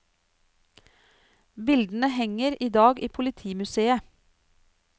Bildene henger i dag i politimuseet.